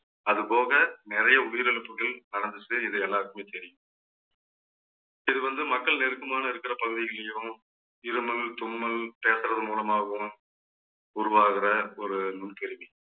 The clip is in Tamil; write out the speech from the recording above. அது போக நிறைய உயிரிழப்புகள் நடந்துச்சு. இது எல்லாருக்குமே தெரியும். இது வந்து மக்கள் நெருக்கமான இருக்கிற பகுதிகளிலேயும் இருமல் தும்மல் பேசறது மூலமாகவும் உருவாகிற ஒரு நுண் கேள்வி